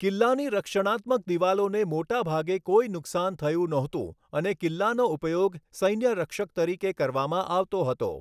કિલ્લાની રક્ષણાત્મક દિવાલોને મોટા ભાગે કોઈ નુકસાન થયું નહોતું અને કિલ્લાનો ઉપયોગ સૈન્ય રક્ષક તરીકે કરવામાં આવતો હતો.